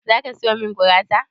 Zaki sayo min gurasa?